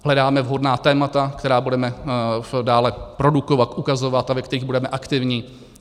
Hledáme vhodná témata, která budeme dále produkovat, ukazovat a ve kterých budeme aktivní.